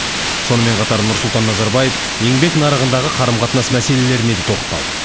сонымен қатар нұрсұлтан назарбаев еңбек нарығындағы қарым қатынас мәселелеріне де тоқталды